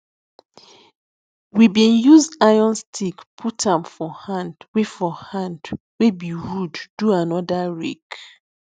we bin use iron stick put am for hand wey for hand wey be wood do anoda rake